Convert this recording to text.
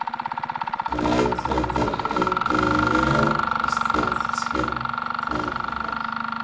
Bretland er einnig mjög stéttskipt þjóðfélag.